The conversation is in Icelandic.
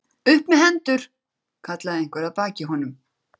Upp með hendur! kallaði einhver að baki honum.